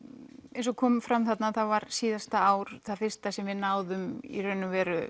eins og kom fram þarna þá var síðasta ár það fyrsta sem við náðum í raun og veru